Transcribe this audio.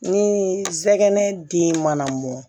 Ni sɛgɛn den mana mɔn